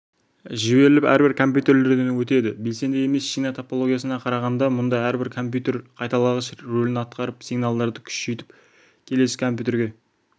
жіберіліп әрбір компьютерден өтеді белсенді емес шина топологиясына қарағанда мұнда әрбір компьютер қайталағыш рөлін атқарып сигналдарды күшейтіп келесі компьютерге